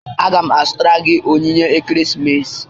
Aga m azụtara gị onyinye ekeresimesi